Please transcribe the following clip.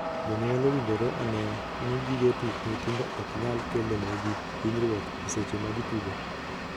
Jonyuol owinjore onee ni gige tuk nyithindo ok nyal kelo negi hinyruok e seche ma gitugo.